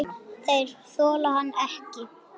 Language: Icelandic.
Þeir þola hann ekki.